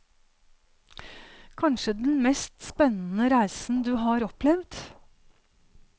Kanskje den mest spennende reisen du har opplevd.